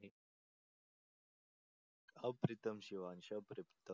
अप्रीतम Shivansh अप्रीतम